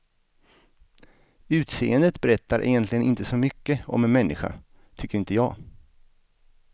Utseendet berättar egentligen inte så mycket om en människa, tycker inte jag.